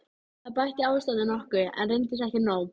Það bætti ástandið nokkuð, en reyndist ekki nóg.